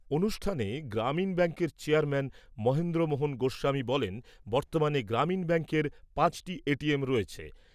অনুষ্ঠানে গ্রামীণ ব্যাঙ্কের চেয়ারম্যান মহেন্দ্র মোহন গোস্বামী বলেন, বর্তমানে গ্রামীণ ব্যাঙ্কের পাঁচটি এটিএম রয়েছে।